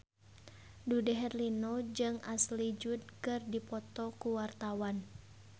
Dude Herlino jeung Ashley Judd keur dipoto ku wartawan